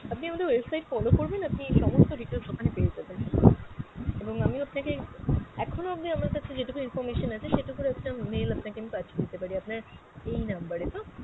আপনি আমাদের website follow করবেন আপনি সমস্ত details ওখানে পেয়ে যাবেন। এবং আমিও আপনাকে এখনও অবধি আমার কাছে যেটুকু information আছে সেটুকুর আপনার mail আপনাকে আমি পাঠিয়ে দিতে পারি, আপনার এই number এ তো?